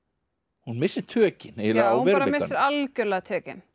hún missir tökin eiginlega á veruleikanum já algjörlega tökin